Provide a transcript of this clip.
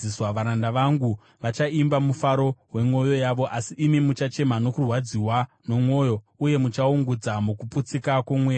Varanda vangu vachaimba zvichibva mumufaro wemwoyo yavo, asi imi muchachema nokurwadziwa nemwoyo uye muchaungudza mukupwanyika kwomweya.